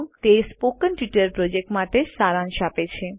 તે spoken tutorial project માટે સારાંશ આપે છે